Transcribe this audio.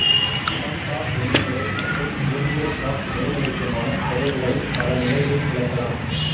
மனம் சார் உண்மைநிலை மற்றும் இயற்பியல் சார் மெய்நிலைக்குமான தொடர்புகளை பல நிலைகளில் விளக்கலாம்